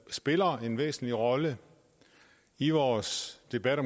spiller en væsentlig rolle i vores debat